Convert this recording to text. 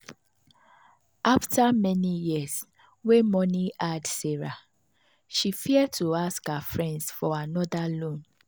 after many years wey money hard sarah she fear to ask her friends for another loan.